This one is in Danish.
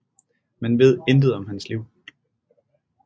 Man ved intet om hans liv